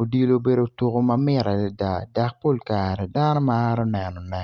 odilo obedo tuku ma mit adida dok pol kare dano Maro nenone